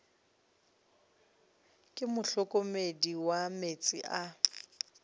ke mohlokomedi wa meetse a